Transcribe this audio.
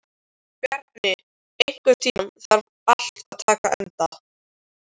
Bjarni, einhvern tímann þarf allt að taka enda.